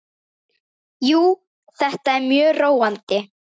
Jú, þetta er mjög róandi.